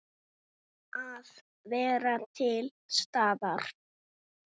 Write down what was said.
Að vera til staðar.